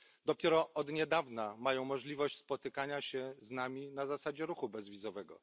Dopiero od niedawna mają możliwość spotykania się z nami na zasadzie ruchu bezwizowego.